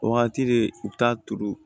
O wagati de i bi taa turu